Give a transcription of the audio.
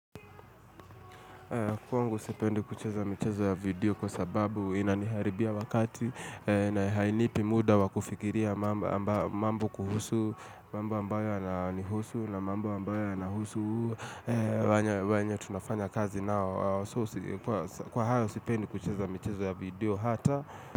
Kwangu sipendi kucheza mchezo ya video kwa sababu inaniharibia wakati na hainipi muda wakufikiria mambo kuhusu, mambo ambayo yananihusu na mambo ambayo anahusu wanya tunafanya kazi nao. Kwa hayo sipendi kucheza mchezo ya video hata.